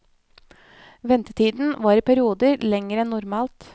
Ventetiden var i perioder lengre enn normalt.